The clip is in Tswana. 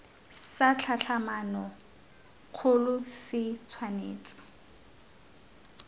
sa tlhatlhamano kgolo se tshwanetse